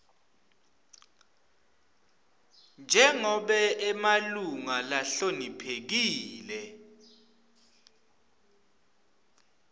njengobe emalunga lahloniphekile